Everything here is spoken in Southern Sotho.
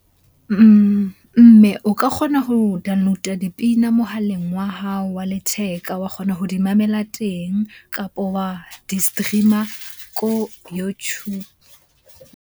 Mme o ka kgona ho download-a dipina mohaleng wa hao wa letheka, wa kgona ho di mamela teng. Kapo wa di-stream-a ko YouTube.